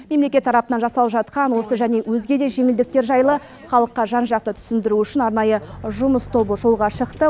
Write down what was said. мемлекет тарапынан жасалып жатқан осы және өзге де жеңілдіктер жайлы халыққа жан жақты түсіндіру үшін арнайы жұмыс тобы жолға шықты